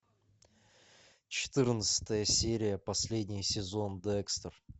четырнадцатая серия последний сезон декстер